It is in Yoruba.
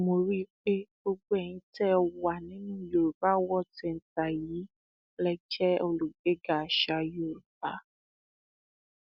mo rí i pé gbogbo ẹyin tẹ ẹ wà nínú yorùbá world centre yìí lè jẹ olùgbéga àṣà yorùbá